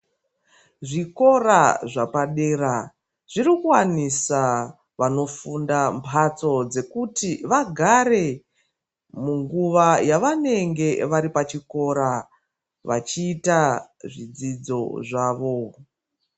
Zvikora zvapadera zvirikuvanisa vanofunda mhatso dzekuti vagare munguva yevanenge vari pachikora, vachita zvidzidzo zvavo.